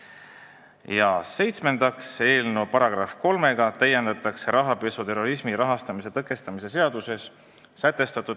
Ja seitsmendaks, eelnõu §-ga 3 muudetakse rahapesu ja terrorismi rahastamise tõkestamise seadust.